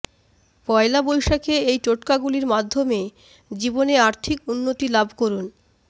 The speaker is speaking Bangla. পয়লা বৈশাখে এই টোটকাগুলির মাধ্যমে জীবনে আর্থিক উন্নতি লাভ করুন